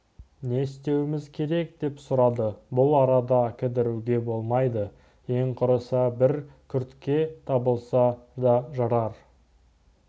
не істеуіміз керек деп сұрады бұл арада кідіруге болмайды ең құрыса бір күрке табылса да жарар